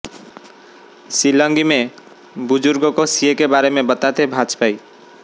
शिलंगी में बुजुर्गों को सीएए के बारे में बताते भाजपाई